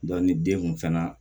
ni den kun fɛnɛ